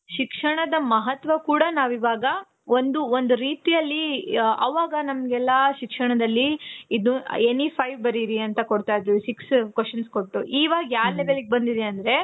ಶಿಕ್ಷಣದ ಮಹತ್ವ ಕೂಡ ನಾವು ಇವಾಗ ಒಂದು ಒಂದು ರೀತಿ ಅಲ್ಲಿ, ಅವಾಗ ನಮಗೆಲ್ಲ ಶಿಕ್ಷಣದಲ್ಲಿ any five ಬರೀರಿ ಅಂತ ಕೊಡ್ತಾ ಇದ್ರು six questions ಕೊಟ್ಟು , ಇವಾಗ ಯಾ level ಗೆ ಬಂದಿದೆ ಅಂದ್ರೆ.